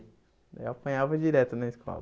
Daí eu apanhava direto na escola.